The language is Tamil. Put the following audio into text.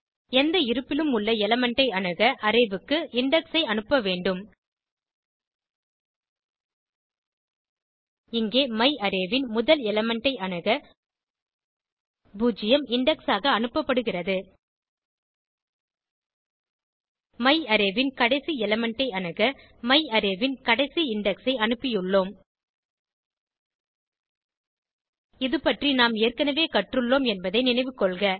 எந்த இருப்பிலும் உள்ள எலிமெண்ட் ஐ அணுக அரே க்கு இண்டெக்ஸ் ஐ அனுப்ப வேண்டும் இங்கே மையாரே ன் முதல் எலிமெண்ட் ஐ அணுக பூஜ்ஜியம் இண்டெக்ஸ் ஆக அனுப்பபடுகிறது மையாரே ன் கடைசி எலிமெண்ட் ஐ அணுக மையாரே ன் கடைசி இண்டெக்ஸ் ஐ அனுப்பியுள்ளோம் இது பற்றி நாம் ஏற்கனவே கற்றுள்ளோம் என்பதை நினைவுகொள்க